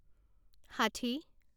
ষাঠি